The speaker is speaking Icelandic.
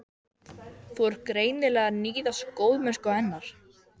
Þú ert greinilega að níðast á góðmennsku hennar.